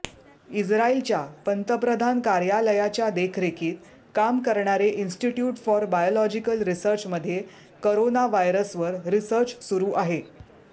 इस्रायलच्या पंतप्रधान कार्यालयाच्या देखरेखीत काम करणारे इन्स्टिट्यूट फॉर बायोलॉजिकल रिसर्चमध्ये कोरोना व्हायरसवर रिसर्च सुरु आहे